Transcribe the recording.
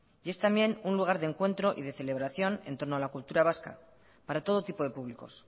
y es también un lugar de encuentro y de celebración entorno a la cultura vasca para todo tipo de públicos